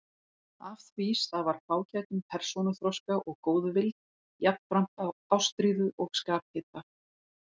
Af því stafar fágætum persónuþroska og góðvild, jafnframt ástríðu og skaphita.